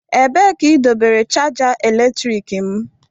Ebee ka idobere chaja eletrik m?